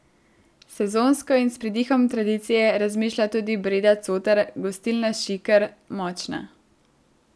Sezonsko in s pridihom tradicije razmišlja tudi Breda Cotar, gostilna Šiker, Močna.